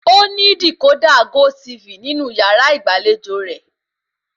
Ó ní dìkódà gótiifì nínú yàrá ìgbàlejò rẹ̀